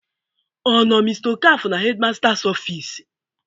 Ọ nọ mr okafor na headmasters office?